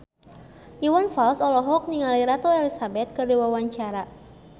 Iwan Fals olohok ningali Ratu Elizabeth keur diwawancara